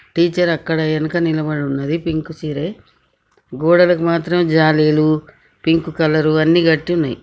Teacher అక్కడే వెనక నిలుబడి ఉన్నది పింక్ చీరే గోడలకు మాత్రం జాలిలు పింక్ కలర్ అన్ని కట్టునాయ్.